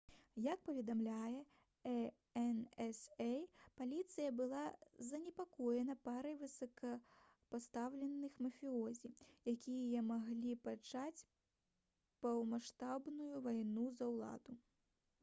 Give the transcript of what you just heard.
як паведамляе ansa «паліцыя была занепакоена парай высокапастаўленых мафіёзі якія маглі пачаць поўнамаштабную вайну за ўладу»